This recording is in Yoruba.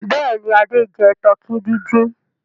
Bẹ́ẹ̀ ni, Adé jẹ tọkí dídín.